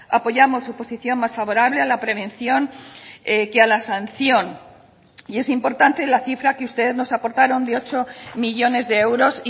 apoyamos su posición más favorable a la prevención que a la sanción y es importante la cifra que ustedes nos aportaron de ocho millónes de euros